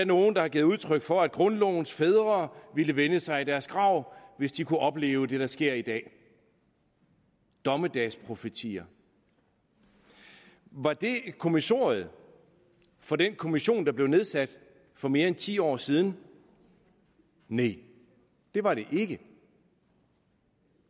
nogle der har givet udtryk for at grundlovens fædre ville vende sig i deres grav hvis de kunne opleve det der sker i dag dommedagsprofetier var det kommissoriet for den kommission der blev nedsat for mere end ti år siden nej det var det ikke